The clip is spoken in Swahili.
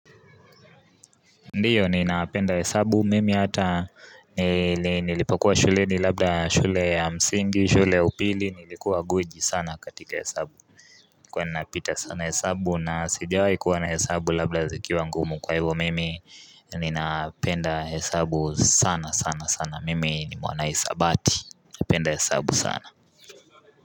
Ndiyo ninapenda hesabu, mimi hata nilipokuwa shuleni labda shule ya msingi, shule ya upili, nilikuwa guji sana katika hesabu nilikuwa napita sana hesabu nasijawahi kuona hesabu labda zikiwa ngumu kwa hivyo mimi ninapenda hesabu sana sana sana mimi ni mwanahisabati, napenda hesabu sana.